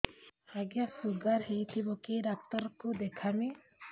ଆଜ୍ଞା ଶୁଗାର ହେଇଥିବ କେ ଡାକ୍ତର କୁ ଦେଖାମି